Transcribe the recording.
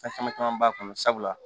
Fɛn caman caman b'a kɔnɔ sabula